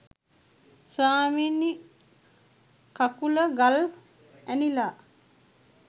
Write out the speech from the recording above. ස්වාමීනි කකුල ගල් ඇනිලා